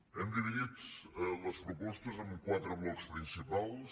hem dividit les propostes en quatre blocs principals